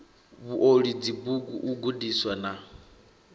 vhuoli dzibugu u gandisa na